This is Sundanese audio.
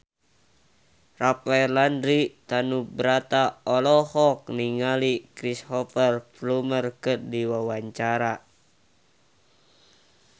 Rafael Landry Tanubrata olohok ningali Cristhoper Plumer keur diwawancara